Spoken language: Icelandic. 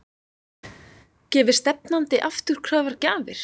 Gefi stefnandi afturkræfar gjafir?